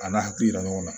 A n'a hakili yira ɲɔgɔn na